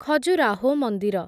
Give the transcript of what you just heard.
ଖଜୁରାହୋ ମନ୍ଦିର